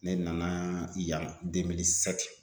Ne nana yan